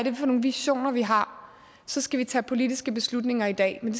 er for nogle visioner vi har så skal vi tage politiske beslutninger i dag men